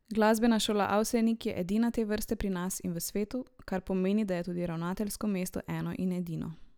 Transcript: Glasbena šola Avsenik je edina te vrste pri nas in v svetu, kar pomeni, da je tudi ravnateljsko mesto eno in edino.